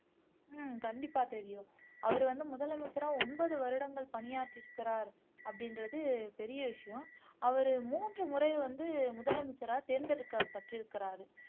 உம் கண்டிப்பா தெரியும் அவர் வந்து முதலமைச்சரா ஒன்பது வருடங்கள் பணியாற்றி இருக்கிறார் அப்படின்றது பெரிய விஷயம் அவர் மூன்று முறை வந்து முதலமைச்சரா தேர்ந்தெடுக்கப்பட்டிருக்கிறார்